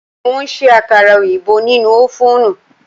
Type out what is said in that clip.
Mo ṣe àkàrà oyinbo nínú ófùnù